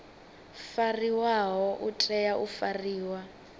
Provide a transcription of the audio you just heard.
fariwaho u tea u fariwa